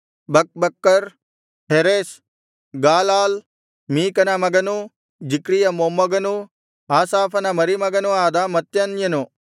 ಬಕ್ಬಕ್ಕರ್ ಹೆರೆಷ್ ಗಾಲಾಲ್ ಮೀಕನ ಮಗನೂ ಜಿಕ್ರೀಯ ಮೊಮ್ಮಗನೂ ಆಸಾಫನ ಮರಿಮಗನೂ ಆದ ಮತ್ತನ್ಯನು